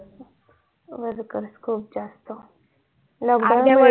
worker खूप जास्त